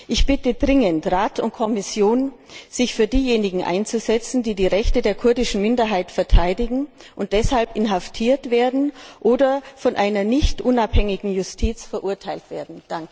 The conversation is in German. Ich bitte dringend Rat und Kommission, sich für diejenigen einzusetzen, die die Rechte der kurdischen Minderheit verteidigen und deshalb inhaftiert oder von einer nicht unabhängigen Justiz verurteilt werden.